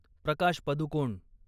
Prakash Padukone